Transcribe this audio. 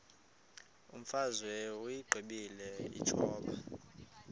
imfazwe uyiqibile utshaba